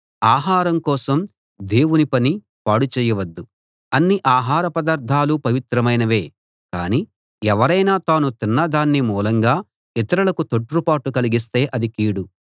ఆహారం కోసం దేవుని పని పాడు చేయవద్దు అన్ని ఆహార పదార్ధాలూ పవిత్రమైనవే కానీ ఎవరైనా తాను తిన్న దాని మూలంగా ఇతరులకు తొట్రుపాటు కలిగిస్తే అది కీడు